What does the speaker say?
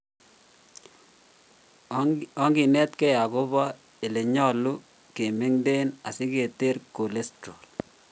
Onginetkei akobo ele nyolu kemengnden asiketer cholesterol